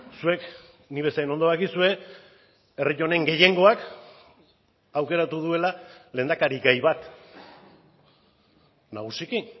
zuek nik bezain ondo dakizue herri honen gehiengoak aukeratu duela lehendakarigai bat nagusiki